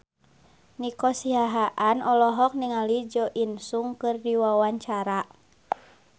Nico Siahaan olohok ningali Jo In Sung keur diwawancara